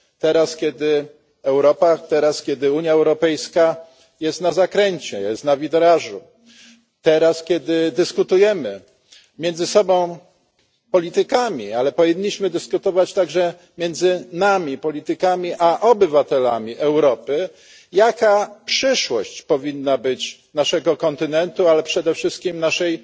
Teraz, kiedy Europa, kiedy Unia Europejska jest na zakręcie, jest na wirażu, teraz kiedy dyskutujemy między sobą politykami, ale powinniśmy dyskutować także między nami politykami a obywatelami Europy jaka przyszłość powinna być naszego kontynentu, ale przede wszystkim naszej